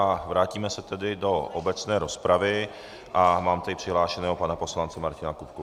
A vrátíme se tedy do obecné rozpravy a mám tady přihlášeného pana poslance Martina Kupku.